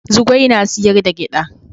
Zugwai na sayar da giɗa